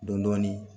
Dɔn dɔɔnin